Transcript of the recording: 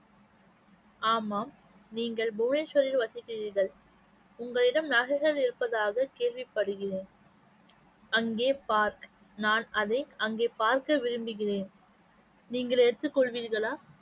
ஆமாம் நீங்கள் புவனேஸ்வரில் வசிக்கிறீர்கள் உங்களிடம் நகைகள் இருப்பதாக கேள்விப்படுகிறேன் அங்கே பார் நான் அதை அங்கே பார்க்க விரும்புகிறேன் நீங்கள் எடுத்துக் கொள்வீர்களா?